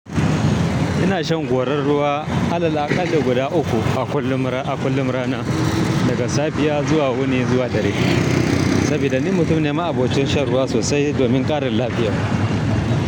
Ina shan gorar ruwa alal akal da guda uku a kullum rana, daga safiya zuwa wuni zuwa dare. Saboda ni mutum ne ma abocin shan ruwa sosai domin ƙarin lafiya.